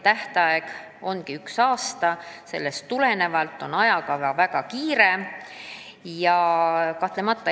Tähtaeg on üks aasta ja sellest tulenevalt on ajakava väga tihe.